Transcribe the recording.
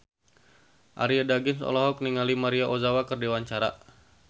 Arie Daginks olohok ningali Maria Ozawa keur diwawancara